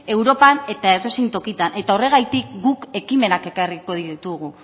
europan eta edozein tokitan eta horregatik guk ekimenak ekarriko ditugu